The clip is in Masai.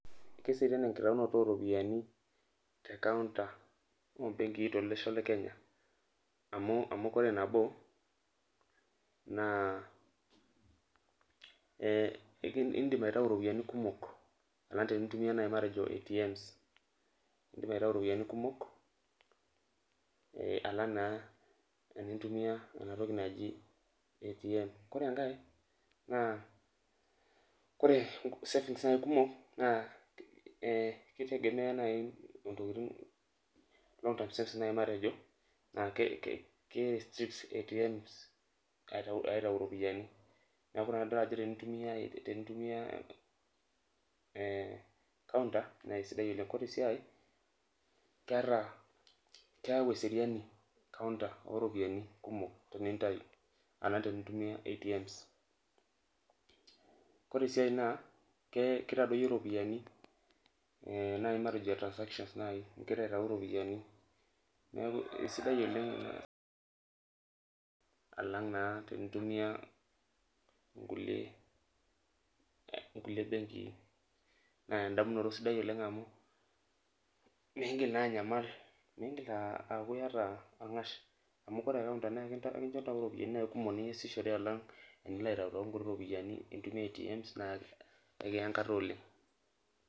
Keserian enkitaunoto oo ropiyiani te ncounter oo mbenkii to losho le kenya amuu ore nabo naa ee ndim aitayu iropiyiani kumok alang tinintumia ntokitin naaji matejo ATM ndim aitayu iropiyiani kumok alang naa tenintuya ntokin naaijo ATMs .Ore enkae ore savings naaji kumok naa kitegemea naaji ntokitin steps naaji matejo e ATMs aaitayu iropiyiani naa kerestrict naaji alang tenintayu te encounter, neeku naa keeta eseriani encounter teninatayu iropiyiani alang tenintumia ATMs .Ore sii enkae naa kitadoyio iropiyiani matejo duo naaji transaction oleng ingira aitayu iropiyiani alang naa nkulie benkii naa endamunoto sidai oleng amuu mintoki aauresho aaku naaji iyata orng'ash, tenilo aitayutayu nkuti ropiyiani aaitumia noo ATMs amu keya enkata oleng.